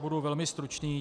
Budu velmi stručný.